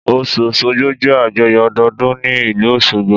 Ọ̀ṣun òṣogbo jẹ́ àjọyọ̀ ọdọọdún ní ìlú Osogbo